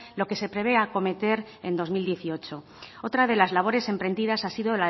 lo que se prevé acometer en dos mil dieciocho otra de las labores emprendidas ha sido